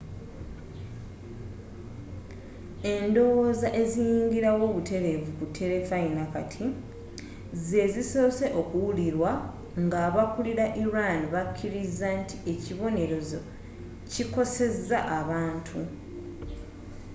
endowooza eziyingira wo butereevu ku terefayina kati zeezisoose okuwulirwa ng'aba kulila iran bakiriza nti ekibonerezo kikoseza abantu